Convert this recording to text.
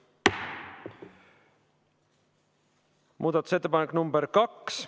Muudatusettepanek nr 2.